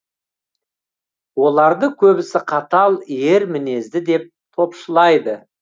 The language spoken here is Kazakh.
оларды көбісі қатал ер мінезді деп топшылайды